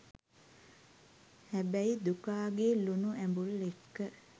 හැබැයි දුකාගේ ලුනු ඇඹුල් එක්ක